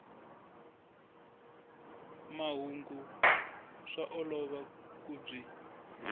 mahungu swa olova ku byi